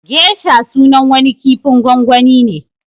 Gesha sunan wani kifin gwangwani ne